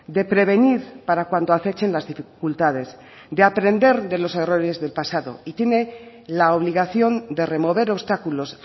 de prevenir para cuando acechen las dificultades de aprender de los errores del pasado y tiene la obligación de remover obstáculos